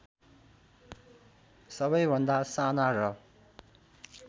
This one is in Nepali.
सबैभन्दा साना र